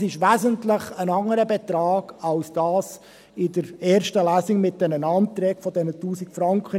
Es ist also ein wesentlich anderer Betrag als jener in der ersten Lesung mit diesen Anträgen auf 1000 Franken.